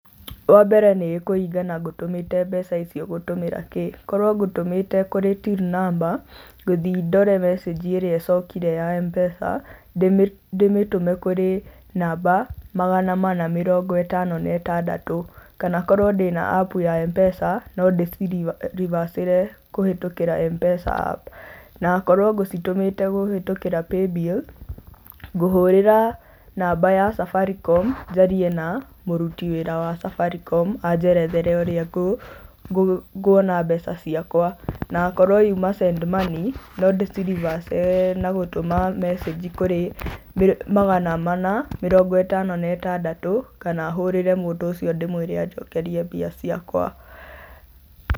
Wa mbere nĩ kũringana ngũtũmĩte mbeca icio gũtũmĩra kĩ, korwo ngũtũmĩte kũrĩ till number, ngũthiĩ ndore message ĩrĩa ĩcokire ya M-pesa, ndĩmĩtume kũrĩ namba magana mana mĩrongo ĩtano na ĩtandatũ kana korwo ndĩ na App ya M-pesa no ndĩci reverse kũhĩtũkĩra M-pesa App. Na akorwo ngũcitũmĩte kũhitũkĩra Paybill, ngũhurĩra namba ya Safaricom njarĩe na mũrũti wĩra wa Safaricom, anjerethere ũrĩa nguona mbeca ciakwa na akorwo yuma Send Money no ndĩ ci reverse na gũtũma message kũrĩ magana mana mĩrongo ĩtano na ĩtandatũ, kana hũrire mũndũ ũcio ndĩmũire anjokerie mbeca ciakwa.